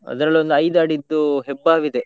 ಅದ್ರಲ್ಲಿ ಒಂದ್ ಐದು ಅಡಿದ್ದು ಹೆಬ್ಬಾವು ಇದೆ.